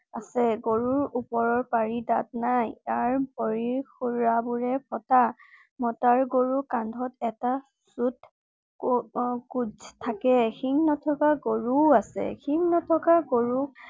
আছে গৰুৰ ওপৰৰ পাৰি দাঁত নাই। তাৰ ভৰিৰ খুৰাবোৰ ফটা। মতা গৰুৰ কান্ধত এটা ছোট আহ কুজ আছে। সিং নথকা গৰু ও আছে। সিং নথকা গৰু